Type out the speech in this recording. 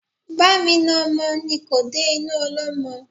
Bá mi na ọmọ ni kò dé inú ọlọ́mọ